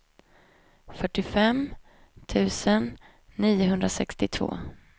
fyrtiofem tusen niohundrasextiotvå